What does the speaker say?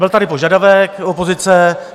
Byl tady požadavek opozice.